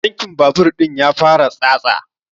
Tankin babur ɗin ya fara tsatsa